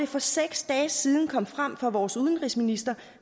for seks dage siden af vores udenrigsminister